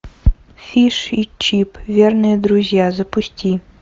фиш и чип верные друзья запусти